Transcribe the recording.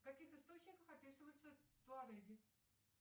в каких источниках описываются туареги